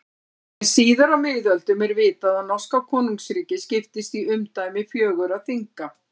En síðar á miðöldum er vitað að norska konungsríkið skiptist í umdæmi fjögurra þinga.